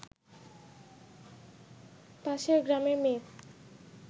পাশের গ্রামের মেয়ে